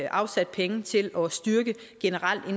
afsat penge til generelt at